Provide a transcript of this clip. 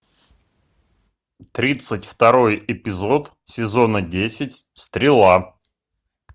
тридцать второй эпизод сезона десять стрела